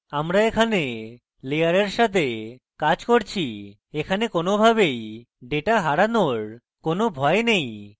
আমরা এখানে layers সাথে কাজ করছি এইজন্য ডেটা হারানোর কোনোতাই কোনো data হারানোর কোন ভয় নেই